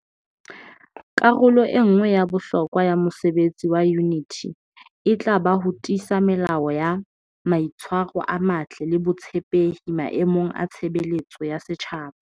Karolo e nngwe ya bohlokwa ya mosebetsi wa Yuniti e tla ba ho tiisa melao ya mai tshwaro a matle le botshepehi maemong a tshebeletso ya setjhaba.